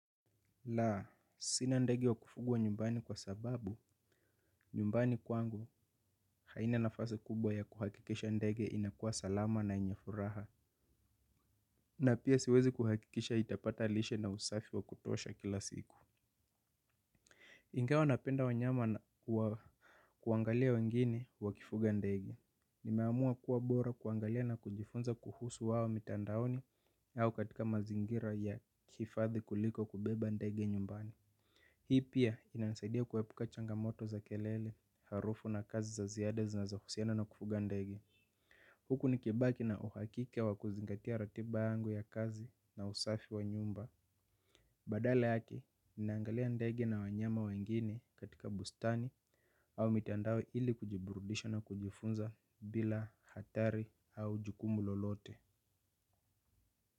La sina ndege wa kufugwa kwa sababu nyumbani haina nafasi kubwa ya kuhakikisha ndege inakuwa salama na enye furaha. Na pia siwezi kuhakikisha itapata lishe na usafi wa kutosha kila siku. Ingawa napenda wanyama kuangalia wengine wakifuga ndege. Nimeamua kuwa bora kuangalia na kujifunza kuhusu wao mitandaoni au katika mazingira ya kifadhi kuliko kubeba ndege nyumbani. Hii pia inanisaidia kuepuka changamoto za kelele harufu na kazi za ziada zinazo husiana na kufuga ndege. Huku ni kibaki na uhakike wa kuzingatia ratiba yangu ya kazi na usafi wa nyumba badala yake naangalia ndege na wanyama wengine katika bustani au mitandao ili kujiburudisha na kujifunza bila jukumu lolote.